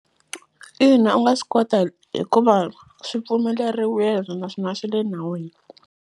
Ina u nga swi kota hikuva swi pfumeleriwile naswona swi le nawini.